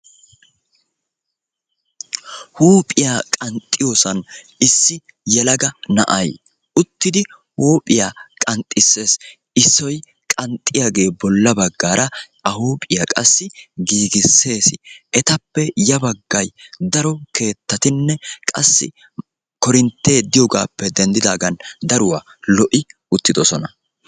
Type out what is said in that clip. Huuphiyaa qanxxiyosan issi yelaga na'ay uttidi huuphiyaa qaxxisees. Issoy qanxxiyage bolla baggara a huuphiyaa qassi giigisseesi. Etappe ya baggay daro keettatinne qassi koorintte diyogappe denddidaagan daruwa lo''i uttidosona.